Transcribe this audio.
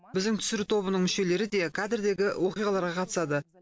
біздің түсіру тобының мүшелері де кадрдегі оқиғаларға қатысады